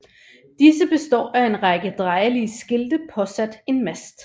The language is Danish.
Disse betår af en række drejelige skilte påsat en mast